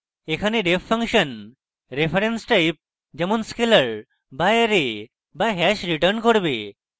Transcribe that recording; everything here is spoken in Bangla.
এখানে ref ফাংশন reference type যেমন scalar বা অ্যারে বা hash return করবে